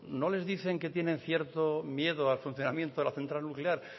no les dicen que tiene cierto miedo al funcionamiento de la central nuclear